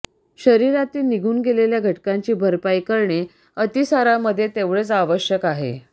शरीरातील निघून गेलेल्या घटकांची भरपाई करणे अतिसारामध्ये तेवढेच आवश्यक आहे